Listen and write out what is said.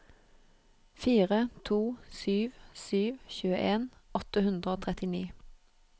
fire to sju sju tjueen åtte hundre og trettini